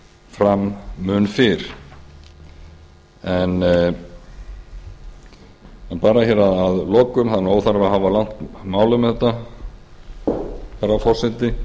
fram mun fyrr en bara hér að lokum það er óþarfi að hafa langt mál um þetta herra forseti